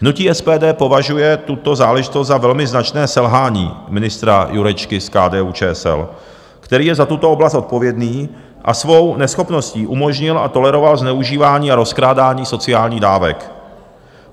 Hnutí SPD považuje tuto záležitost za velmi značné selhání ministra Jurečky z KDU-ČSL, který je za tuto oblast odpovědný a svou neschopností umožnil a toleroval zneužívání a rozkrádání sociálních dávek.